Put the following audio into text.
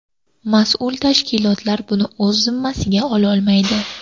Mas’ul tashkilotlar buni o‘z zimmasiga ololmaydi.